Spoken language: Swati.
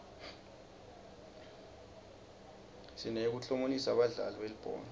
sineyekuklomelisa badlali belibhola